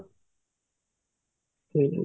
ଦେବି